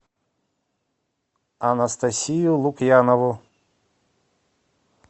анастасию лукьянову